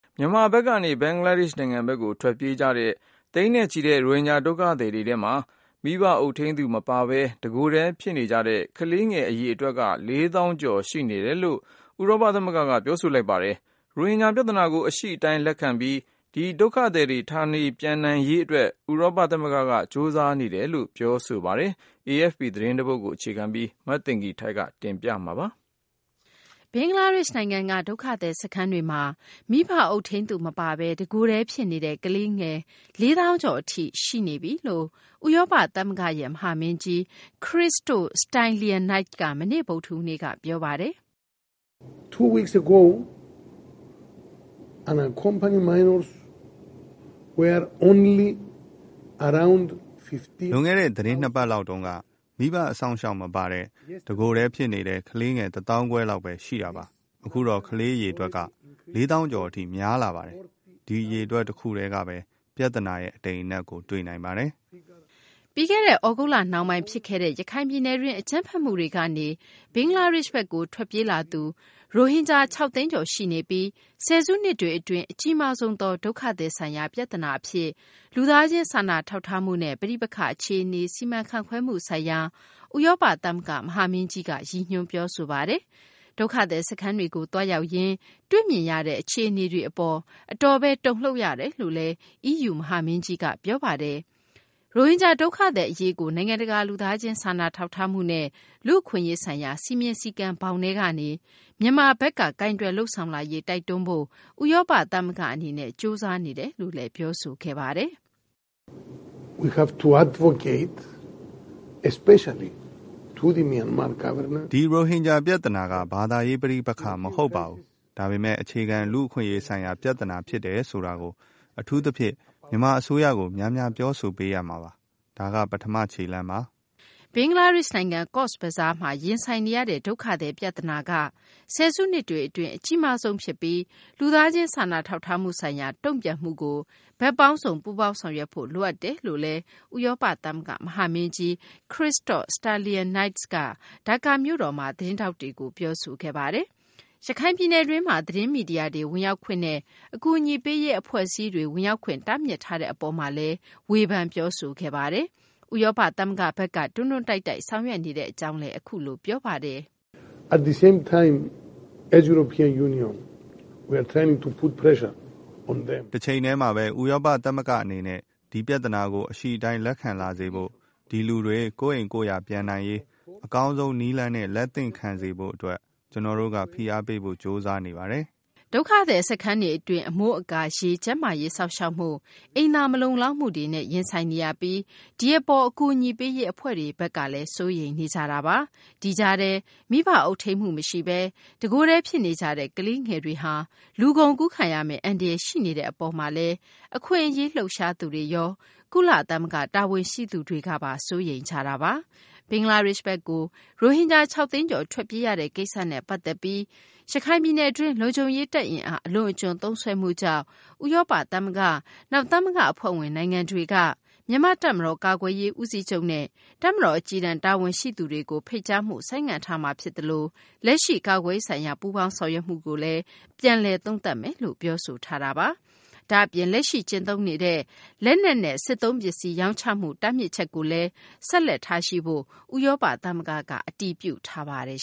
မြန်မာဘက်ကနေ ဘင်္ဂလားဒေရှ့် နိုင်ငံဘက်ကို ထွက်ပြေးကြတဲ့ သိန်းနဲ့ချီတဲ့ ရိုဟင်ဂျာ ဒုက္ခသည်တွေထဲမှာ မိဘအုပ်ထိန်းသူ မပါဘဲ တကိုယ်တည်း ဖြစ်နေကြတဲ့ ကလေးငယ် အရေအတွက် ၄ သောင်းကျော် ရှိနေတယ်လို့ ဥရောပ သမဂ္ဂက ပြောဆိုလိုက်ပါတယ်။ ရိုဟင်ဂျာ ပြသနာကို အရှိအတိုင်း လက်ခံပြီး ဒီဒုက္ခသည်တွေ ဌာနပြန်နိုင်ရေး အတွက်လည်း ဥရောပ သမဂ္ဂဘက်က ကြိုးစားနေတယ်လို့လည်း ပြောဆိုသွားပါတယ်။ AFP သတင်းကို မသိင်္ဂ ီထိုက် ပြောပြမှာပါ။ ဘင်္ဂလားဒေရှ့် နိုင်ငံက ဒုက္ခသည် စခန်းတွေမှာ မိဘ အုပ်ထိန်းသူ မပါဘဲ တကိုယ်တည်း ဖြစ်နေတဲ့ ကလေးငယ် ၄ သောင်းကျော် အထိ ရောက်လာပြီလို့ ဥရောပသမဂ္ဂရဲ့ မဟာမင်းကြီး Christos Stylianides က မနေ့ ဗုဒ္ဓဟူးနေ့က ပြောပါတယ်။ "လွန်ခဲ့တဲ့ သတင်း ၂ ပတ်လောက်တုန်းက မိဘ အစောင့်အရှောက် မပါတဲ့ တကိုယ်တည်းဖြစ်နေတဲ့ ကလေးငယ် ၁ သောင်းခွဲလောက်ဘဲ ရှိတာပါ။ အခုတော့ ကလေး အရေအတွက် ၄ သောင်းကျော်အထိ များလာပါတယ်။ ဒီအရေအတွက် တခုတည်းကဘဲ ပြသနာရဲ့ အတိမ်အနက်ကို တွေ့နိုင်ပါတယ်။" ပြီးခဲ့တဲ့ သြဂုတ်လနှောင်းပိုင်း ဖြစ်ခဲ့တဲ့ ရခိုင်ပြည်နယ်တွင်း အကြမ်းဖက်မှုတွေကနေ ဘင်္ဂလားဒေရှ့်ဘက်ကို ထွက်ပြေးလာသူ ရိုဟင်ဂျာ ၆ သိန်းကျော် ရှိနေပြီး ဆယ်စုနှစ်တွေ အတွင်း အကြီးမားဆုံးသော ဒုက္ခသည်ဆိုင်ရာ ပြသနာ အဖြစ် လူသားချင်းစာနာထောက်ထားမှုနဲ့ ပဋိပက္ခအခြေအနေ စီမံခန့်ခွဲမှုဆိုင်ရာ ဥရောပ သမဂ္ဂ မဟာမင်းကြီးက ရည်ညွန်းပြောဆိုပါတယ်။ ဒုက္ခသည် စခန်းတွေကို သွားရောက်ရင်း တွေ့ရမြင်ရတဲ့ အခြေအနေတွေ အပေါ် အတော်လေး တုန်လှုပ်ရတယ်လို့လည်း EU မဟာမင်းကြီးက ပြောဆိုပါတယ်။ ရိုဟင်ဂျာ ဒုက္ခသည် အရေးကို နိုင်ငံတကာ လူသားချင်းစာနာထောက်ထားမှုနဲ့ လူ့အခွင့်အရေးဆိုင်ရာ စည်းမျဉ်းစည်းကမ်းဘောင်ထဲကနေ မြန်မာဘက်က ကိုင်တွယ်လုပ်ဆောင်လာရေး တိုက်တွန်းဖို့ ဥရောပ သမဂ္ဂ အနေနဲ့ ကြိုးစားနေတယ်လို့လည်း ပြောဆိုခဲ့ပါတယ်။ "ဒီရိုဟင်ဂျာ ပြသနာက ဘာသာရေး ပဋိပက္ခမဟုတ်ပါဘူး။ ဒါပေမယ့် အခြေခံ လူ့အခွင့်အရေးဆိုင်ရာ ပြသနာ ဖြစ်တယ်ဆိုတာကို အထူးသဖြင့် မြန်မာ အစိုးရကို များများ ပြောဆိုပေးရမှာပါ။ ဒါက ပထမ ခြေလှမ်းပါ။" ဘင်္ဂလားဒေရှ့်နိုင်ငံ ကော့ဇ်ဘဇားမှာ ရင်ဆိုင်နေရတဲ့ ဒုက္ခသည် ပြသနာက ဆယ်စုနှစ်တွေ အတွင်း အကြီးမားဆုံးဖြစ်ပြီး လူသားချင်းစာနာထောက်ထားမှု ဆိုင်ရာ တုံ့ပြန်မှုကို ဘက်ပေါင်းစုံ ပူးပေါင်းဆောင်ရွက်ဖို့ လိုအပ်တယ်လို့လည်း ဥရောပ သမဂ္ဂ မဟာမင်းကြီး Christos Stylianides က ဒါကာမြို့တော်မှာ သတင်းထောက်တွေကို ပြောဆိုခဲ့ပါတယ်။ ရခိုင်ပြည်နယ်တွင်းမှာ သတင်းမီဒီယာတွေ ဝင်ရောက်ခွင့်နဲ့ အကူအညီပေးရေး အဖွဲ့အစည်းတွေ ဝင်ရောက်ခွင့် တားမြစ်ထားတဲ့ အပေါ်မှာလည်း ဝေဖန်ပြောဆိုခဲ့ပါတယ်။ ဥရောပ သမဂ္ဂဘက်က တွန်းတွန်းတိုက်တိုက် ဆောင်ရွက်နေတာတွေကိုလည်း အခုလို ပြောဆိုခဲ့ပါတယ်။ "တချိန်တည်းမှာဘဲ ဥရောပ သမဂ္ဂ အနေနဲ့ ဒီပြသနာကို အရှိအတိုင်း လက်ခံလာစေဖို့၊ ဒီလူတွေ ကိုယ့်အိမ်ကိုယ့်ယာ ပြန်နိုင်ရေး အကောင်းဆုံး နည်းလမ်းနဲ့ လက်သင့်ခံစေဖို့ အတွက် ကျနော်တို့က ဖိအားပေးဖို့ ကြိုးစားနေပါတယ်။" ဒုက္ခသည် စခန်းတွေ အတွင်း အမိုးအကာ၊ ရေ၊ ကျန်းမာရေး စောင့်ရှောက်မှု၊ အိမ်သာ မလုံလောက်မှုတွေနဲ့ ရင်ဆိုင်နေရပြီး ဒီအပေါ် အကူအညီပေးရေး အဖွဲ့တွေဘက်ကလည်း စိုးရိမ်နေကြတာပါ။ ဒီကြားထဲ မိဘ အုပ်ထိန်းမှု မရှိဘဲ တကိုယ်တည်း ဖြစ်နေကြတဲ့ ကလေးငယ်တွေဟာ လူကုန်ကူးခံရမယ့် အန္တရာယ် ရှိနေတဲ့ အပေါ်မှာလည်း အခွင့်အရေး လှုပ်ရှားသူတွေ၊ ကုလ တာဝန်ရှိသူတွေက စိုးရိမ်နေကြပါတယ်။ ဘင်္ဂလားဒေရှ့်ဘက်ကို ရိုဟင်ဂျာ ၆ သိန်းကျော် ထွက်ပြေးရတဲ့ ကိစ္စနဲ့ ပတ်သက်ပြီးရခိုင်ပြည်နယ်တွင်း လုံခြုံရေး တပ် အင်အား အလွန်အကျွံသုံးစွဲမှုကြောင့် ဥရောပ သမဂ္ဂ၊ နောက် သမဂ္ဂ အဖွဲ့ဝင် နိုင်ငံတွေက မြန်မာ့ တပ်မတော် ကာကွယ်ရေး ဦးစီးချုပ်နဲ့ တပ်မတော် အကြီးတန်း တာဝန်ရှိသူတွေကို ဖိတ်ကြားမှု ဆိုင်းငံ့ထားမှာ ဖြစ်သလို လက်ရှိ ကာကွယ်ရေးဆိုင်ရာ ပူးပေါင်းဆောင်ရွက်မှုတွေကိုလည်း ပြန်လည် သုံးသပ်မယ်လို့ ပြောဆိုထားပါတယ်။ဒါ့အပြင် လက်ရှိ ကျင့်သုံးနေတဲ့ လက်နက်နဲ့ စစ်သုံးပစ္စည်း ရောင်းချမှု တားမြစ်မှုကိုလည်း ဆက်လက်ထားရှိဖို့ ဥရောပ သမဂ္ဂက ဆက်လက် အတည်ပြုထားပါတယ်